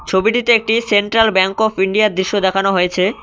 ছবিটিতে একটি Central Bank of India -এর দৃশ্য দেখানো হয়েছে।